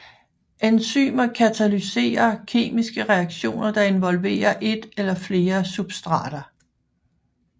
Enzymer katalyserer kemiske reaktioner der involverer et eller flere substrater